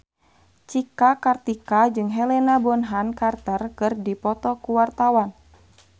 Cika Kartika jeung Helena Bonham Carter keur dipoto ku wartawan